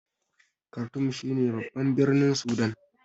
Kartum shi ne babban birnin Sudan